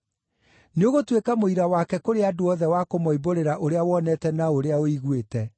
Nĩũgũtuĩka mũira wake kũrĩ andũ othe wa kũmoimbũrĩra ũrĩa wonete na ũrĩa ũiguĩte.